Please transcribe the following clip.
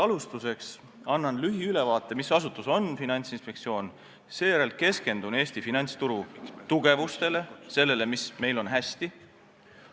Alustuseks annan lühiülevaate, mis asutus on Finantsinspektsioon, seejärel keskendun Eesti finantsturu tugevatele külgedele, sellele, mis meil on hästi.